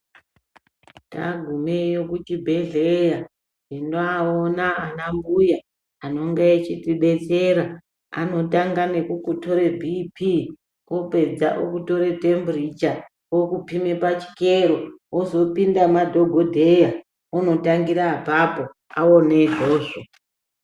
Tagumeyo kuchibhedhleya, tinoaona anambuya ,anonge echitibetsera. Anotanga nekukutore bhiphi, opedza okutore themburicha, okuphime pachikero,,wozopinda madhogodheya, unotangira apapo, aone izvozvo.